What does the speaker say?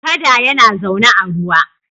Kada yana zaune a ruwa.